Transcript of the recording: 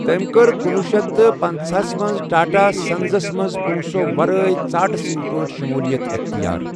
تٔمۍ کٔر کُنوُہ شیتھ تہٕ پٕنژہٕ ہَس منٛز ٹاٹا سنزس منٛز پونٛسو ورٲے ژاٹہٕ سنٛد پٲٹھۍ شمولیت اختیار۔